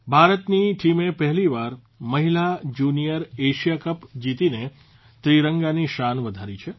ભારતની ટીમે પહેલીવાર મહિલા જૂનિયર એશિયા કપ જીતીને ત્રિરંગાની શાન વધારી છે